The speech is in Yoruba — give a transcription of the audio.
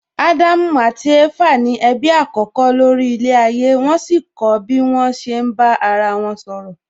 Ádámù àti Éfà ni ẹbí àkọ́kọ́ lórí ilẹ̀ ayé wón sì kọ́ bí wón ṣe ń bá ara wọn sọ̀rọ̀